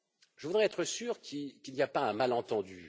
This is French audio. Je voudrais être sûr qu'il n'y a pas un malentendu.